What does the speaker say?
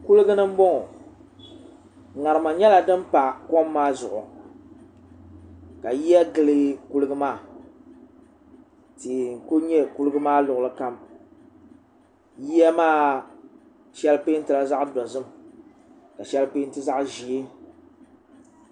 kuligu ni n boŋo ŋarima nyɛla din pa kom maa zuɣu ka yiya gili kuligu maa tihi n ku nyɛ kuligi maa luɣuli kam yiya maa shɛli peentila zaɣ dozim ka shɛli peenti zaɣ ʒiɛ